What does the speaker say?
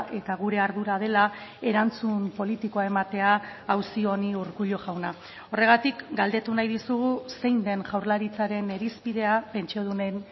eta gure ardura dela erantzun politikoa ematea auzi honi urkullu jauna horregatik galdetu nahi dizugu zein den jaurlaritzaren irizpidea pentsiodunen